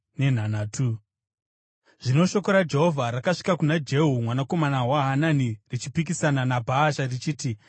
Zvino shoko raJehovha rakasvika kuna Jehu mwanakomana waHanani richipikisana naBhaasha richiti,